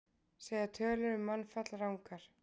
Segja tölur um mannfall rangar